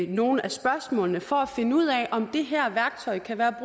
nogle af spørgsmålene for at finde ud af om det her værktøj kan være